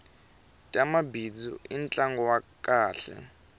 tamabindzu i ntlangu wa kahle